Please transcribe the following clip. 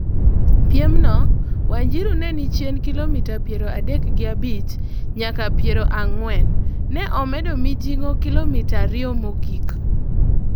Piemno, Wanjiru ne ni chien kilomita piero adek gi abich nyaka piero ang'wen, ne omedo mijing'o kilomita ariyo mogik.